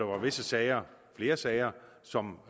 visse sager flere sager som